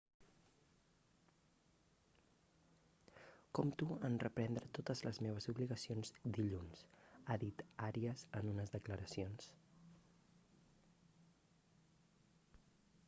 compto en reprendre totes les meves obligacions dilluns ha dit arias en unes declaracions